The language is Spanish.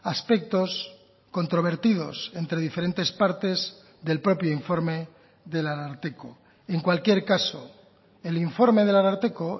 aspectos controvertidos entre diferentes partes del propio informe del ararteko en cualquier caso el informe del ararteko